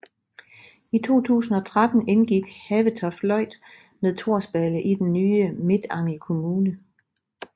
I 2013 indgik Havetoftløjt med Torsballe i den nye Midtangel kommune